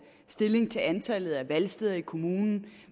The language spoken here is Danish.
stilling til antallet af valgsteder i kommunen